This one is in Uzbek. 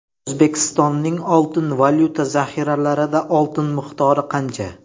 O‘zbekistonning oltin-valyuta zaxiralarida oltin miqdori qancha?